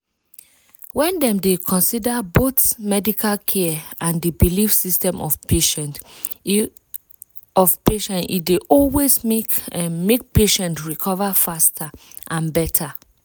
when dem dey consider both medical care and di belief system of patient e of patient e dey always make make patient recover faster and better.